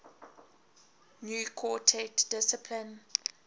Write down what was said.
new quartet discipline